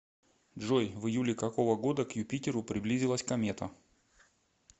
джой в июле какого года к юпитеру приблизилась комета